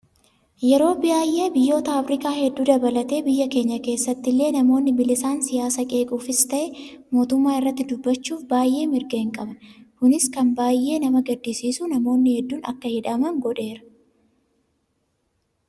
Yeroo baay'ee biyyoota Afrikaa hedduu dabalatee biyya keenya keessatti illee namoonni bilisaan siyaasa qeequufis ta'ee mootummaa irratti dubbachuuf baay'ee mirga hin qaba. Kunis kan baay'ee nama gaddisiisu namoonni hedduun akka hidhaman godheera.